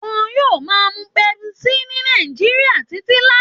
Wọn yóò máa mu pepsi ni Nàìjíríà títí láí